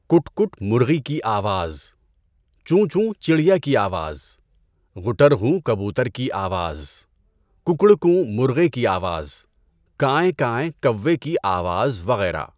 کُٹ کُٹ مرغی کی آواز، چوں چوں چڑیا کی آواز، غٹرغوں کبوتر کی آواز، ککڑوں کوں مرغے کی آواز، کائیں کائیں کوے کی آواز وغیرہ۔